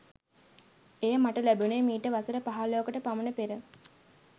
එය මට ලැබුණේ මීට වසර පහලොවකට පමණ පෙර